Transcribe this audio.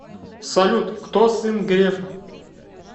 салют кто сын грефа